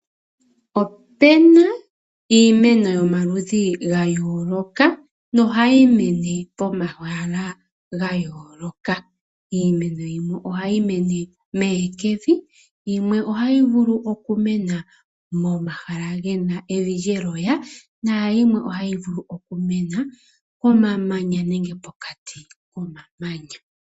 Opu na iimeno yomaludhi ga yooloka, nohayi mene pomahala ga yooloka. Iimeno yimwe ohayi mene mehekevi, yimwe ohayi vulu okumena momahala ge na evi lyeloya, naayimwe ohayi vulu okumena momamanya nenge pokati komamanya.